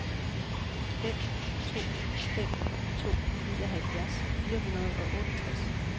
fem to fem to nioghalvfjerds fire hundrede og otteogtres